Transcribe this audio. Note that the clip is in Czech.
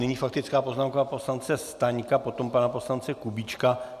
Nyní faktická poznámka poslance Staňka, potom pana poslance Kubíčka.